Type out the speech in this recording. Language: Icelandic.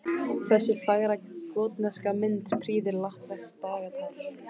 Þessi fagra gotneska mynd prýðir latneskt dagatal.